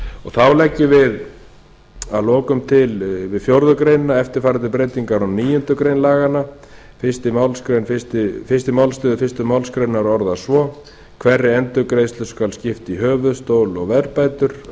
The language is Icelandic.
þá leggjum við að lokum til við fjórðu grein eftirfarandi breytingar á níundu grein laganna fyrstu málsl fyrstu málsgrein orðast svo hverri endurgreiðslu skal skipt í höfuðstól og verðbætur annarri